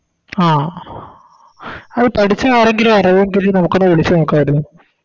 ആ അയ് പഠിച്ച ആരെങ്കിലും അറിവെങ്കിൽ നമുക്കൊന്ന് വിളിച്ച് നോക്കായിരുന്നു